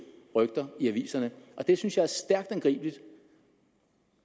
rygter i aviserne og det synes jeg er stærkt angribeligt